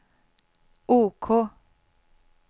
OK